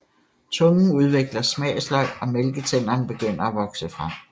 Tungen udvikler smagsløg og mælketænderne begynder at vokse frem